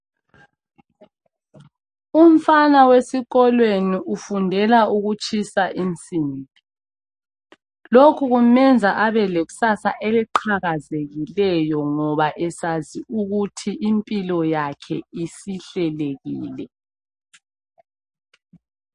Umfana wesikolweni ufundela ukutshisa insimbi lokhu kumenza abe lekusasa eliqhakazekileyo ngoba esazi ukuthi impilo yakhe isihlelekile